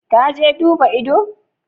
Ka je duba ido?